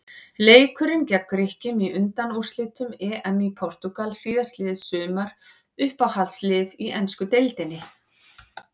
Leikurinn gegn Grikkjum í undanúrslitum EM í Portúgal síðastliðið sumar Uppáhaldslið í ensku deildinni?